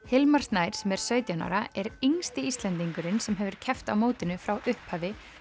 Hilmar Snær sem er sautján ára er yngsti Íslendingurinn sem hefur keppt á mótinu frá upphafi